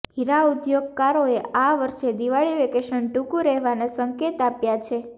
હીરાઉદ્યોગકારોએ આ વર્ષે દિવાળી વેકેશન ટૂંકુ રહેવાના સંકેત આપ્યા છે